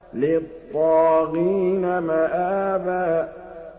لِّلطَّاغِينَ مَآبًا